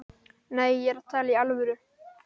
Nei, ég er að tala í alvöru.